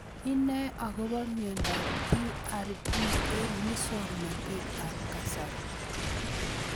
Inae akopo miondop TARP eng' muswognatet ab kasari